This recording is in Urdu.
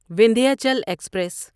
وندھیاچل ایکسپریس